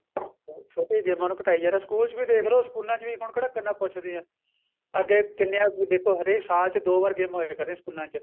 ਛੋਟੀ ਗੇਮਾ ਨੂੰ ਘਟਾਈ ਜਾ ਰਹੇ ਏ ਸਕੂਲ ਚ ਵੀ ਦੇਖ ਲੋ ਸਕੂਲਾ ਚ ਵੀ ਹੁਣ ਕਿਹੜਾ ਕਿੰਨਾ ਪੁੱਛਦੇ ਏ ਅੱਗੇ ਕਿੰਨੇ ਦੇਖੋ ਹਰੇਕ ਸਾਲ ਚ ਦੋ ਵਾਰ ਗੇਮਾ ਹੋਈਆਂ ਕਰਦੀਆਂ ਸਕੂਲਾ ਚ